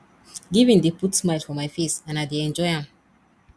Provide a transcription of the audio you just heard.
giving dey put smile for my face and i dey enjoy am